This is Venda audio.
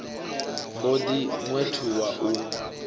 mb o ḓi ṅwethuwa u